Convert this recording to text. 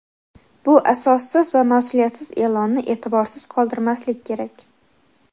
Bu asossiz va masʼuliyatsiz eʼlonni eʼtiborsiz qoldirmaslik kerak.